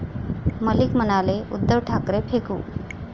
मलिक म्हणाले, उद्धव ठाकरे फेकू!